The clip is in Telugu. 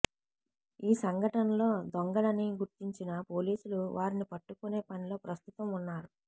ఈ సంఘటనలో దొంగలని గుర్తించిన పోలీసులు వారిని పట్టుకునే పనిలో ప్రస్తుతం వున్నారు